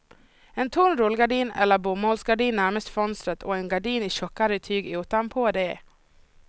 En tunn rullgardin eller bomullsgardin närmast fönstret och en gardin i tjockare tyg utanpå det.